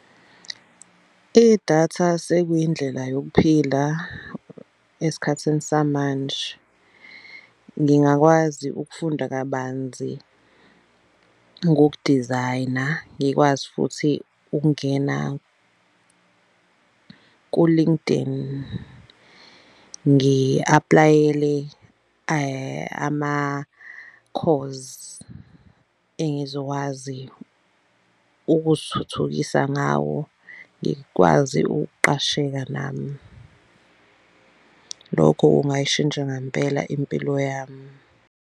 Idatha sekuyindlela yokuphila esikhathini samanje. Ngingakwazi ukufunda kabanzi ngoku-design-a, ngikwazi futhi ukungena ku-LinkedIn ngi-aplayele ama-course engizokwazi ukuzithuthukisa ngawo. Ngikwazi ukuqasheka nami, lokho kungayishintsha ngampela impilo yami.